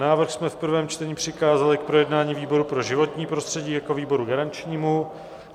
Návrh jsme v prvém čtení přikázali k projednání výboru pro životní prostředí jako výboru garančnímu.